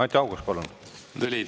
Anti Haugas, palun!